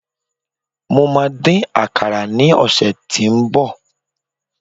mo ma din àkàrà ni ọsẹ tínbọ̀